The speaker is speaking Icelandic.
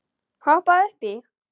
Hoppaðu upp í.